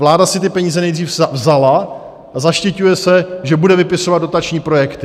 Vláda si ty peníze nejdřív vzala a zaštiťuje se, že bude vypisovat dotační projekty.